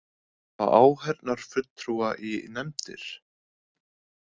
Fá áheyrnarfulltrúa í nefndir